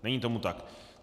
Není tomu tak.